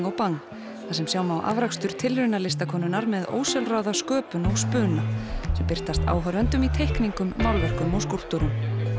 og Bang þar sem sjá má afrakstur tilrauna listakonunnar með ósjálfráða sköpun og spuna sem birtast áhorfendum í teikningum málverkum og skúlptúrum